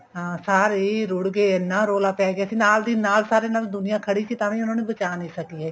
ਹਾਂ ਸਾਰੇ ਹੀ ਰੁੜ ਗਏ ਇੰਨਾ ਰੋਲਾ ਪੈ ਗਿਆ ਸੀ ਨਾਲ ਸਾਰੇ ਨਾਲ ਦੁਨੀਆ ਖੜੀ ਸੀ ਤਾਂ ਵੀ ਉਹਨਾ ਨੂੰ ਬਚਾ ਨੀ ਸਕੀ ਹੈਗੀ